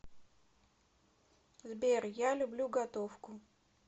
сбер я люблю готовку